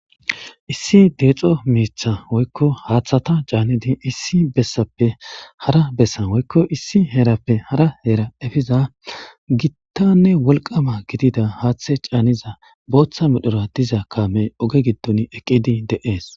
Issi deexo miitha woykko haaththata caanidi issi bessappe hara bessa woykko issi heerappe hara heera efiza gittanne wolqama gidida haaththe caaniza booththa medhora diza kaamey oge gitton eqqidi de'ees.